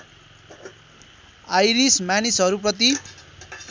iris मानिसहरू प्रति